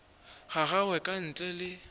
ga gagwe ka ntle le